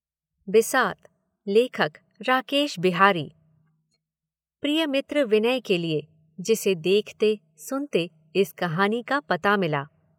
बिसात लेखक राकेश बिहारी। प्रिय मित्र विनय के लिए, जिसे देखते सुनते इस कहानी का पता मिला।